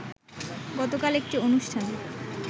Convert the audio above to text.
গতকাল একটি অনুষ্ঠানে